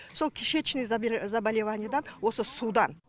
сол кишечный заболеваниедан осы судан